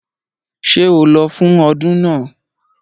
Ṣé o lọ fún ọdún náà?